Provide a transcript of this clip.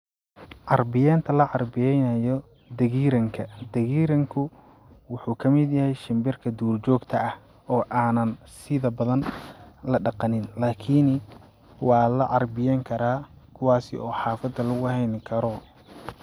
Carbiyenta la carbiyeynayo dhagiiranka dhagiiranku waxuu kamid yahay shimbirka duur joogta ah oo aanan sida badan ladaqanin lakini waa la carbiyeen karaa kuwaasi oo xafada lagu heyni karo.